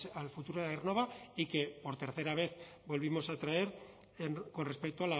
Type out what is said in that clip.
al futuro de aernnova y que por tercera vez volvimos a traer con respecto